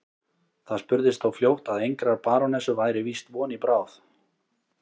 Það spurðist þó fljótt að engrar barónessu væri víst von í bráð.